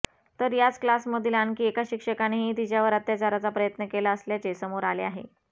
तर याच क्लासमधील आणखी एका शिक्षकानेही तिच्यावर अत्याचाराचा प्रयत्न केला असल्याचे समोर आले आहे